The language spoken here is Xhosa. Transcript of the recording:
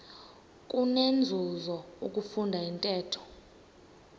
kunenzuzo ukufunda intetho